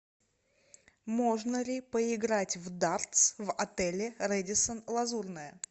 можно ли поиграть в дартс в отеле рэдисон лазурная